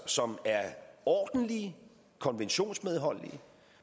som er ordentlige og konventionsmedholdige